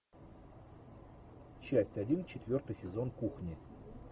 часть один четвертый сезон кухни